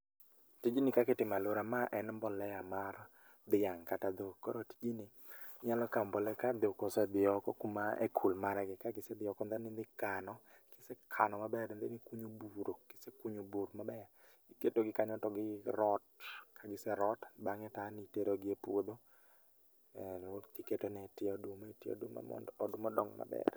Tijni kak itimo alwora ma en [csmbolea mar dhiang' kata dhok. Koro tijni, inyalo kaw mbolea ka dhok osedhi oko kuma e kul margi. Kagisedhi oko then idhi kano, kisekano maber and then ikunyo buro. Kisekunyo bur maber, iketo gi kanyo to gi rot kagise rot, bang'e ta an itero gi e puodho tiketone tie oduma etie mondo oduma odong maber